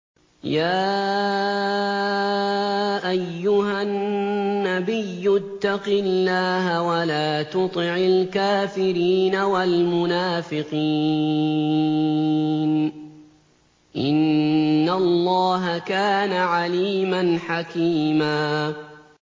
يَا أَيُّهَا النَّبِيُّ اتَّقِ اللَّهَ وَلَا تُطِعِ الْكَافِرِينَ وَالْمُنَافِقِينَ ۗ إِنَّ اللَّهَ كَانَ عَلِيمًا حَكِيمًا